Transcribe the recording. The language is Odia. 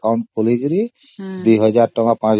ସେଥିପାଇ SBI account ଖୋଲିକି ସେଥିରେ